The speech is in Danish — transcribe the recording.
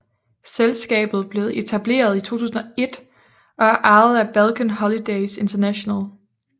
Selskabet blevet etableret i 2001 og er ejet af Balkan Holidays International